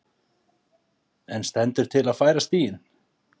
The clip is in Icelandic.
En stendur til að færa stíginn?